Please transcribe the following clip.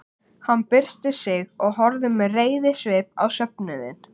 Hann byrsti sig og horfði með reiðisvip á söfnuðinn.